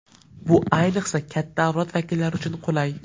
Bu ayniqsa katta avlod vakillari uchun qulay!